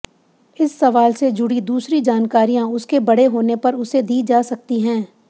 इस सवाल से जुड़ी दूसरी जानकारियां उसके बड़े होने पर उसे दी जा सकती हैं